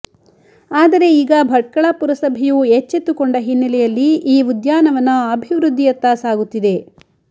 ್ತ ಆದರೆ ಈಗ ಭಟ್ಕಳ ಪುರಸಭೆಯು ಎಚ್ಚೆತ್ತುಕೊಂಡ ಹಿನ್ನೆಲೆಯಲ್ಲಿ ಈ ಉದ್ಯಾನವನ ಅಭಿವೃದ್ದಿಯತ್ತ ಸಾಗುತ್ತಿದೆ